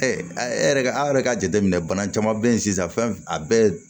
e yɛrɛ an yɛrɛ ka jateminɛ bana caman bɛ ye sisan fɛn a bɛɛ